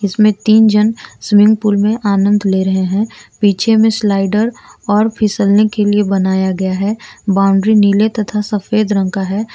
इसमें तीन जन स्विमिंग पूल में आनंद ले रहे है पीछे में स्लाइडर और फिसलने के लिए बनाया गया है बाउंड्री नीले तथा सफेद रंग का है।